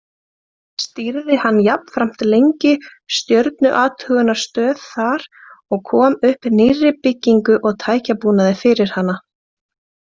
Stýrði hann jafnframt lengi stjörnuathugunarstöð þar og kom upp nýrri byggingu og tækjabúnaði fyrir hana.